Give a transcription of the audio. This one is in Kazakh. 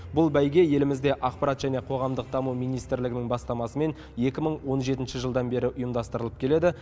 бұл бәйге елімізде ақпарат және қоғамдық даму министрлігінің бастамасымен екі мың он жетінші жылдан бері ұйымдастырылып келеді